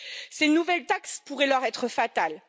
Ces nouvelles taxes pourraient leur être fatales.